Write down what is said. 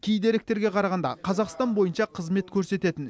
кей деректерге қарағанда қазақстан бойынша қызмет көрсететін